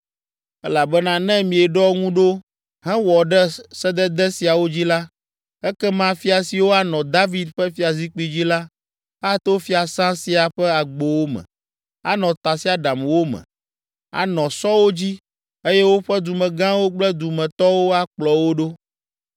elabena ne mieɖɔ ŋu ɖo hewɔ ɖe sedede siawo dzi la, ekema fia siwo anɔ David ƒe fiazikpui dzi la, ato fiasã sia ƒe agbowo me, anɔ tasiaɖamwo me, anɔ sɔwo dzi eye woƒe dumegãwo kple dumetɔwo akplɔ wo ɖo.